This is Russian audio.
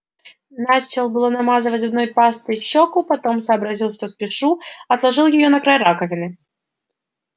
начал было намазывать зубной пастой щёку потом сообразил что спешу отложил её на край раковины